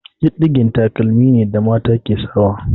Diɗɗige taƙalma ne da mata ke sawa.